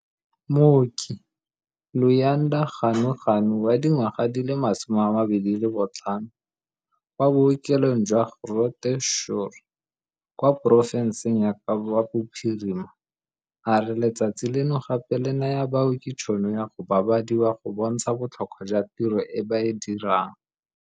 Mooki Luyanda Ganuganu wa dingwaga di le 25, kwa bookelong jwa Groote Schuur kwa porofenseng ya Kapa Bophirima, a re letsatsi leno gape le naya baoki tšhono ya go babadiwa go bontsha botlhokwa jwa tiro e ba e dirang.